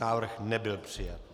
Návrh nebyl přijat.